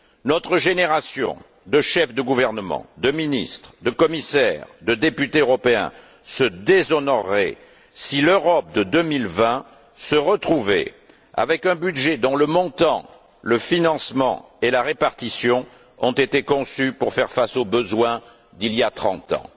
Notre génération de chefs de gouvernement, de ministres, de commissaires, de députés européens, se déshonorerait si l'Europe de 2020 se retrouvait avec un budget dont le montant, le financement et la répartition ont été conçus pour faire face aux besoins d'il y a trente ans.